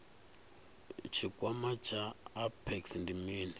tshikwama tsha apex ndi mini